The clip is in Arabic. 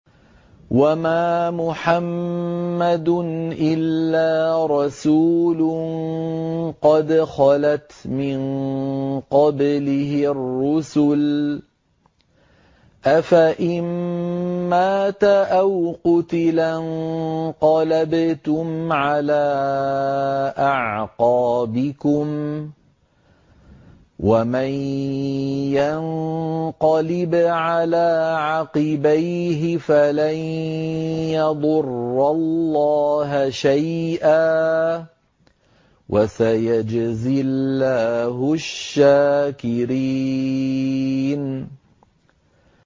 وَمَا مُحَمَّدٌ إِلَّا رَسُولٌ قَدْ خَلَتْ مِن قَبْلِهِ الرُّسُلُ ۚ أَفَإِن مَّاتَ أَوْ قُتِلَ انقَلَبْتُمْ عَلَىٰ أَعْقَابِكُمْ ۚ وَمَن يَنقَلِبْ عَلَىٰ عَقِبَيْهِ فَلَن يَضُرَّ اللَّهَ شَيْئًا ۗ وَسَيَجْزِي اللَّهُ الشَّاكِرِينَ